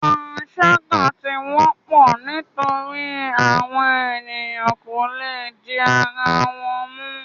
Panṣaga ti wọpọ nitori awọn eniyan ko le di ara wọn mu